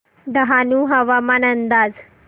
डहाणू हवामान अंदाज